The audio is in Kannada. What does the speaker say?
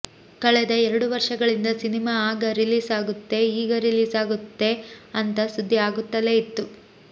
ಕಳೆದ ಎರಡು ವರ್ಷಗಳಿಂದ ಸಿನಿಮಾ ಆಗ ರಿಲೀಸ್ ಆಗುತ್ತೆ ಈಗ ರಿಲೀಸ್ ಆಗುತ್ತೇ ಅಂತ ಸುದ್ದಿ ಆಗುತ್ತಲೇ ಇತ್ತು